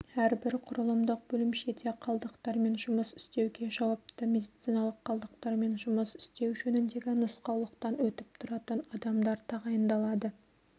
әрбір құрылымдық бөлімшеде қалдықтармен жұмыс істеуге жауапты медициналық қалдықтармен жұмыс істеу жөніндегі нұсқаулықтан өтіп тұратын адамдар тағайындалады